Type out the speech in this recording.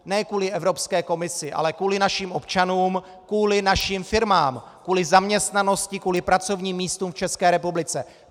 Ne kvůli Evropské komisi, ale kvůli našim občanům, kvůli našim firmám, kvůli zaměstnanosti, kvůli pracovním místům v České republice.